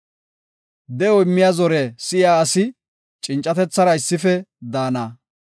De7o immiya zore si7iya asi cincatethara issife daana.